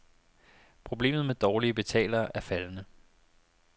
Problemet med dårlige betalere er faldende.